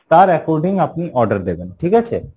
তার according আপনি order দেবেন ঠিক আছে?